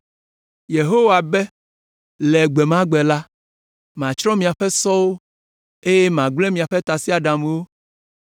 Yehowa be: “Le gbe ma gbe la, matsrɔ̃ miaƒe sɔwo eye magblẽ miaƒe tasiaɖamwo